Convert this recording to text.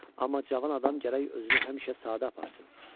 Amma cavan adam gərək özünü həmişə sadə aparsın.